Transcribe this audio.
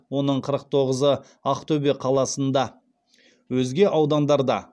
оның қырық тоғызы ақтөбе қаласында өзге аудандарда